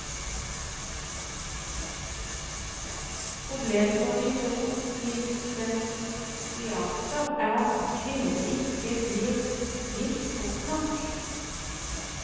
Problemet for de to lisensiater er at kvinnene ikke blir gift fort nok.